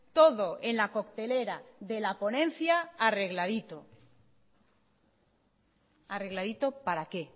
todo en la coctelera de la ponencia arregladito arregladito para qué